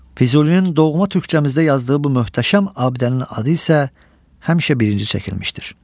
Füzulinin doğma türkcəmizdə yazdığı bu möhtəşəm abidənin adı isə həmişə birinci çəkilmişdir.